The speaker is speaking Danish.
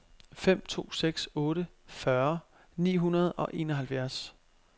fem to seks otte fyrre ni hundrede og enoghalvfjerds